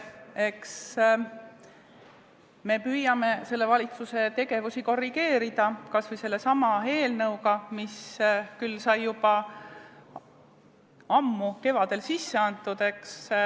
Eks me püüame selle valitsuse tegevust korrigeerida kas või sellesama eelnõuga, mis küll sai sisse antud juba ammu, kevadel.